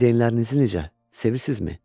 Valideynlərinizi necə sevirsinizmi?